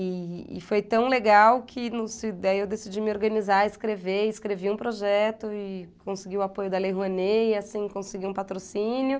E e foi tão legal que daí eu decidi me organizar, escrever, escrevi um projeto e consegui o apoio da Lei Rouanet, e assim, consegui um patrocínio.